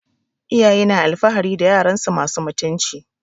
Iyaye na alfahari da yaransu masu mutunci